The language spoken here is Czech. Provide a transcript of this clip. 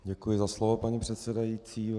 Děkuji za slovo, paní předsedající.